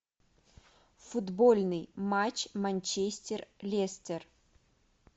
футбольный матч манчестер лестер